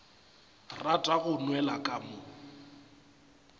rata go nwela ka mo